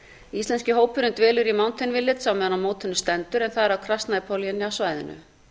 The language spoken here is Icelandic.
íslenski hópurinn dvelur í mountain village meðan á mótinu stendur en það er á kraznapoli inni á svæðinu